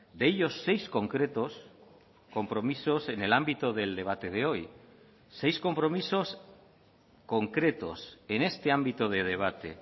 de ellos seis concretos compromisos en el ámbito del debate de hoy seis compromisos concretos en este ámbito de debate